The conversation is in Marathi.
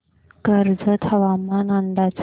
कर्जत हवामान अंदाज